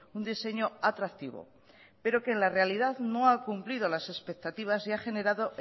un diseño atractivo pero que en la realidad no ha cumplido las expectativas y ha generado